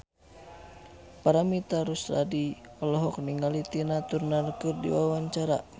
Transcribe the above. Paramitha Rusady olohok ningali Tina Turner keur diwawancara